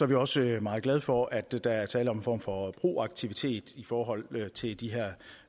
vi også meget glade for at der er tale om en form for proaktivitet i forhold til de her